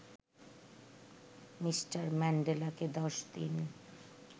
Mr ম্যান্ডেলাকে ১০ দিন